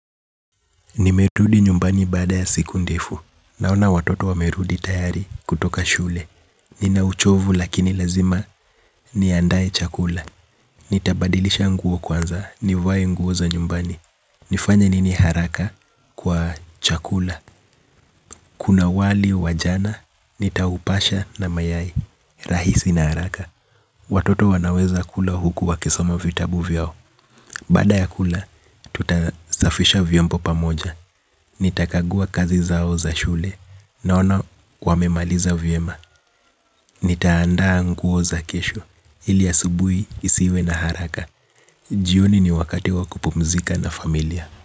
Nimerudi nyumbani baada ya siku ndefu. Naona watoto wamerudi tayari kutoka shule. Nina uchovu lakini lazima niandae chakula. Nitabadilisha nguo kwanza. Nivae nguo za nyumbani. Nifanya nini haraka kwa chakula. Kuna wali, wa jana, nitaupasha na mayai. Rahisi na haraka. Watoto wanaweza kula huku wakisoma vitabu vyao. Baada ya kula, tutasafisha vyombo pamoja. Nitakagua kazi zao za shule. Naona, wamemaliza vyema. Nitaandaa nguo za kesho. Ili asubui, isiwe na haraka. Jioni ni wakati wa kupumzika na familia.